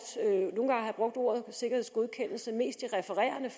ordet sikkerhedsgodkendelse mest i refererende